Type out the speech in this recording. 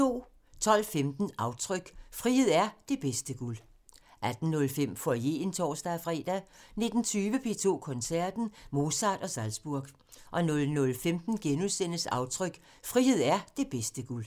12:15: Aftryk – Frihed er det bedste guld 18:05: Foyeren (tor-fre) 19:20: P2 Koncerten – Mozart & Salzburg 00:15: Aftryk – Frihed er det bedste guld *